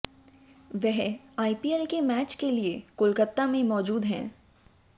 वह आईपीएल के मैच के लिए कोलकाता में मौजूद हैं